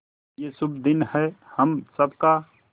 ये शुभ दिन है हम सब का